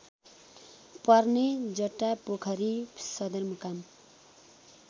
पर्ने जटापोखरी सदरमुकाम